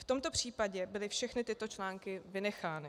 V tomto případě byly všechny tyto články vynechány.